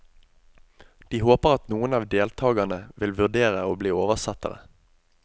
De håper at noen av deltagerne vil vurdere å bli oversettere.